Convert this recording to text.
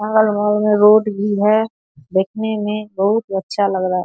अगल-बगल में रोड भी है देखने में बहुत ही अच्छा लग रहा है।